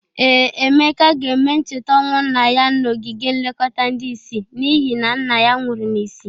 Ee, Emeka ga-eme ncheta ọnwụ nna ya n'ogige nlekọta ndị isi n'ihe na nna ya nwụrụ n'isi.